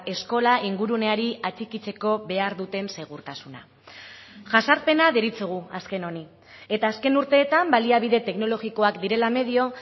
eskola inguruneari atxikitzeko behar duten segurtasuna jazarpena deritzogu azken honi eta azken urteetan baliabide teknologikoak direla medio